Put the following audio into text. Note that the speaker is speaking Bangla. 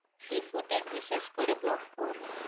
Sea food এর বিশেষ করে vlog করবো।